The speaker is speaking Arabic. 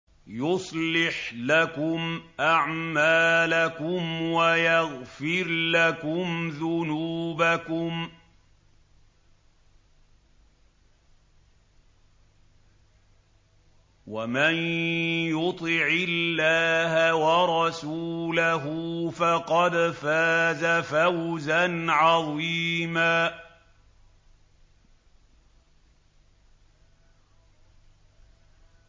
يُصْلِحْ لَكُمْ أَعْمَالَكُمْ وَيَغْفِرْ لَكُمْ ذُنُوبَكُمْ ۗ وَمَن يُطِعِ اللَّهَ وَرَسُولَهُ فَقَدْ فَازَ فَوْزًا عَظِيمًا